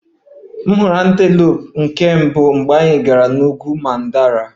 Ahụla m antelope na nke mbụ mgbe anyị gara n'ugwu mandara